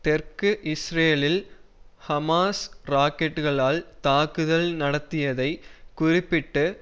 தெற்கு இஸ்ரேலில் ஹமாஸ் ராக்கெட்களால் தாக்குதல் நடத்தியதைக் குறிப்பிட்டு